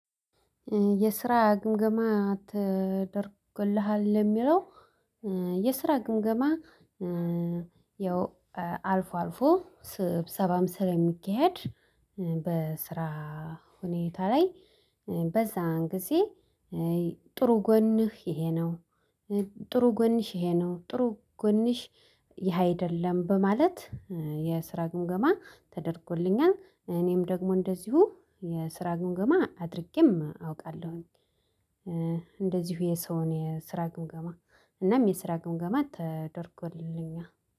የስራ ግምገማ ተደርግልሃል የሚለው የስራ ግምገማ ያው አልፎ አልፎ ስብሰባም ስለሚካሄድ በስራ ሁኔታ ላይ በዛን ጊዜ ጥሩ ጎንህ ይሄ ነው ጥሩ ግንሽ ይሄ ነው ጥሩ ግንሽ ይሄ አይደለም በማለት የስራ ግምገማ ተደርጎልኛል እኔም ደግሞ እንደዚሁ የስራ ግምገማ አድርጌም አውቃለሁኝ። እንደዚሁ የሰውን የስራ ግምገማ እናም የስራ ግምገማ ተደርጎልኛል።